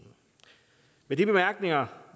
med de bemærkninger